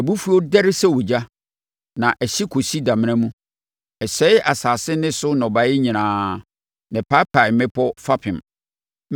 Mʼabufuo dɛre sɛ ogya, na ɛhye kɔsi damena mu. Ɛsɛe asase ne so nnɔbaeɛ nyinaa na ɛpaapae mmepɔ fapem.